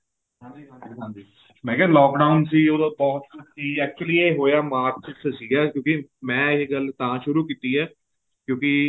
ਹਾਂਜੀ ਹਾਂਜੀ ਮੈਂ ਕਿਹਾ lock down ਸੀ ਉਦੋਂ ਬਹੁਤ ਕੁੱਛ ਸੀ actually ਇਹ ਹੋਇਆ ਮਾਰਚ ਚ ਸੀਗਾ ਕਿਉਂਕਿ ਮੈਂ ਇਹ ਗੱਲ ਤਾਂ ਸ਼ੁਰੂ ਕੀਤੀ ਹੈ ਕਿਉਂਕਿ